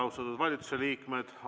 Austatud valitsusliikmed!